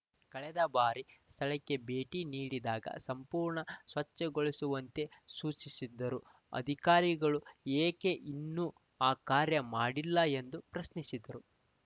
ಕಳೆದ ಬಾರಿ ಸ್ಥಳಕ್ಕೆ ಭೇಟಿ ನೀಡಿದಾಗ ಸಂಪೂರ್ಣ ಸ್ವಚ್ಛಗೊಳಿಸುವಂತೆ ಸೂಚಿಸಿದ್ದರೂ ಅಧಿಕಾರಿಗಳು ಏಕೆ ಇನ್ನೂ ಆ ಕಾರ್ಯ ಮಾಡಿಲ್ಲ ಎಂದು ಪ್ರಶ್ನಿಸಿದರು